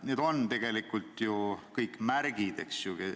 Need on tegelikult ju kõik märgid.